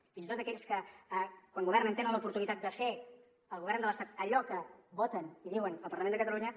fins i tot aquells que quan governen tenen l’oportunitat de fer al govern de l’estat allò que voten i diuen al parlament de catalunya